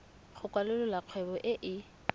go kwalolola kgwebo e e